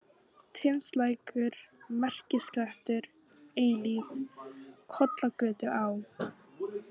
Tindslækur, Merkisklettur, Eilífð, Kollagötuá